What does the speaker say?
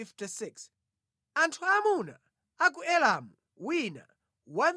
Anthu aamuna a ku Elamu wina 1,254